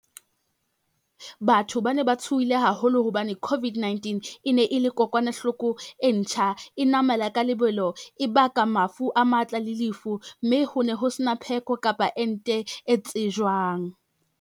Batho ba ne ba tshohile haholo hobane COVID-19 e ne e le kokwanahloko e ntjha, e namela ka lebelo, e baka mafu a matla le lefu, mme ho ne ho se na pheko kapa ente e tsejwang.